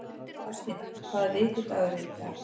Baldína, hvaða vikudagur er í dag?